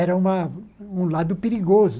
Era uma um lado perigoso.